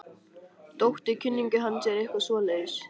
Dóttir kunningja hans eða eitthvað svoleiðis.